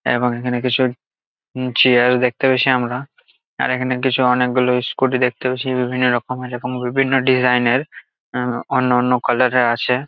এবং এখানে কিছু উম চেয়ার দেখতে পেয়েছি আমরা আর এখানে কিছু অনেক গুলো স্কুটি দেখতে পেয়েছি বিভিন্ন রকমের এবং বিভিন্ন ডিজাইন -এর আহ অন্য অন্য কালার -এর আছে।